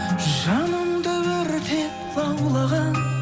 жанымды өртеп лаулаған